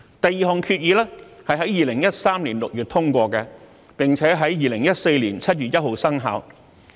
第二項決議在2013年6月通過，並且在2014年7月1日生效。